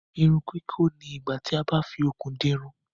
Irun kikọ ní igbà tí a bá fí okùn di irun.